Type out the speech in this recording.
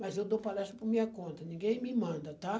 mas eu dou palestra por minha conta, ninguém me manda, tá?